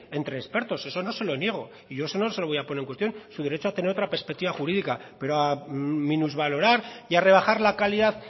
entre expertos eso no se lo niego y yo eso no se lo voy a poner en cuestión su derecho a tener otra perspectiva jurídica pero a minusvalorar y a rebajar la calidad